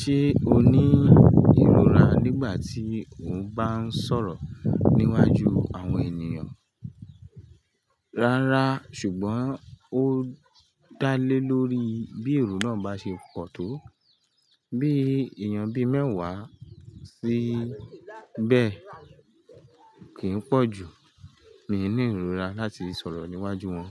Ṣé o ní ìrora nígbà tí o ń bá ń sọ̀rọ̀ níwájú àwọn ènìyàn? Rárá, ṣùgbọ́n ó dá lé lórí bí èrò náà bá ṣe pọ̀ tó. Bí èèyàn bí mẹ́wàá sí bẹ́ẹ̀ kì í pọ̀ jù, mi ní ìrora láti sọ̀rọ̀ níwájú wọn.